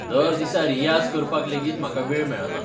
दर दिसा रियाज करपाक लेगीत म्हाका वेळ मेळना.